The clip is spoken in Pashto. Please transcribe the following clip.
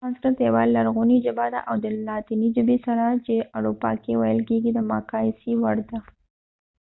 سانسکرت یوه لرغونې ژبه ده او د لاتیني ژبې سره چې په اروپا کې ویل کیږي د مقایسې وړ ده